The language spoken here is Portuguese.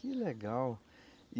Que legal!